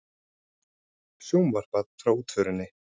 Sjónvarpað frá útförinni